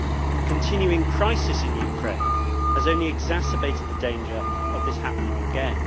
The continuing crisis in Ukraine has only exacerbated the danger of this happening again.